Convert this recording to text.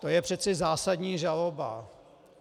To je přece zásadní žaloba.